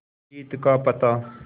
जीत का पता